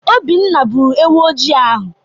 Obinna gbụrụ ewu ojii ahụ.